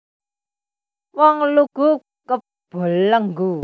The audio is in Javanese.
Wong lugu kebelenggu